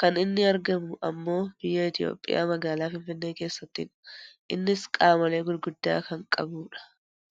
kan inni argamu ammoo biyya Itoopiyaa magaalaa Finfinnee keessattidha. Innis gamoolee gurguddaa kan qabudha.